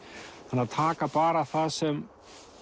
en taka bara það sem